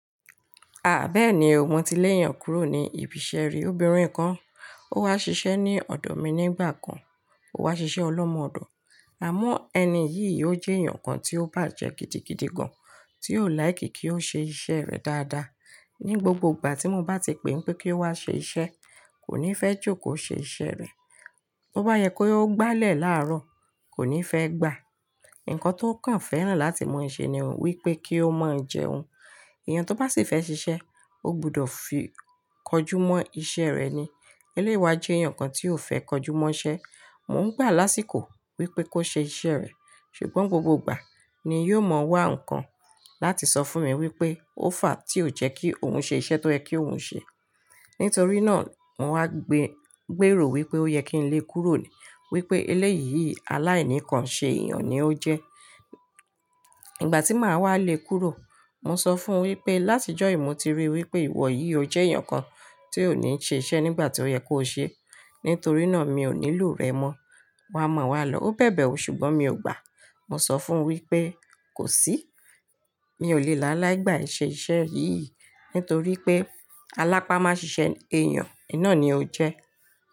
A bẹ́ẹ̀ni, mo ti lé èèyàn kúrò ní ibi iṣẹ́ rí. Obìnrin kan, ó wá ṣiṣẹ́ ní ọ̀dọ̀ mi nígbà kan, ó wá ṣiṣẹ́ ọlọ́mọ-ọ̀dọ̀. Àmọ́ ẹni yìí ó jẹ́ èèyàn kan tí ó bàjẹ́ gidigidi gan, tí ó like kí ó ṣe iṣẹ́ rẹ̀ dáadáa. Ni gbogbo ìgbà tí mo bá ti pè pé kí ó wá ṣe iṣẹ́, kò ní fẹ́ jókòó ṣe iṣẹ́ rẹ̀. Bo bá yẹ kó gbálẹ̀ láàárọ̀, kò ní fẹ́ gbà. Ǹkan tó kàn fẹ́ràn láti mọ ṣe ni wípé kí ó máa jẹun. Èèyàn tó bá sì fẹ́ ṣiṣẹ́, ó gbọdọ̀ fi kọjú mọ iṣẹ́ rẹ̀ ni. Eléyi wá jẹ́ èèyàn kan tí ò fẹ́ kọjú mọ iṣẹ́. Mo ń gbà lásìkò wípé kó ṣe iṣẹ́ rẹ̀, ṣùgbọ́n gbogbo ìgbà ni yóò mọ wá ǹkan láti sọ fún mi wípé ó fà á tí ò jẹ́ kí òun ṣe iṣẹ́ tó yẹ ki oun ṣe. Nítorí náà mo wá gbéèrò wípé ó yẹ kí n lé e kúrò wípé eléyìí aláìníkan ṣe èèyàn ni ó jẹ́. Ìgbà tí màá wá lé e kúrò, mo sọ fún wípé láti ọjọ́ yii mo ti ríi wípé ìwọ yìí o jẹ́ èèyàn kan tí ò ní ṣe iṣẹ́ nígbà tó yẹ kó ṣe, nítorí náà mi ò nílò rẹ mọ. Wa mọ̀ wá lọ̀ọ́. Ó bẹ̀bẹ̀ ẹ́ ṣùgbọ́n mi ò gbà. Mo sọ fún wípé kò sí, mi ò lè láiláí gbà ee ṣe iṣẹ́ yìí nítorí pé alápá má ṣiṣẹ́ èèyàn, iná ni ó jẹ́.